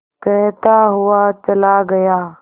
कहता हुआ चला गया